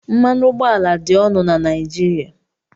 Mmanụ ụgbọala dị ọnụ na Naijiria